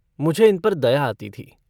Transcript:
मुझे इन पर दया आती थी।